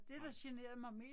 Nej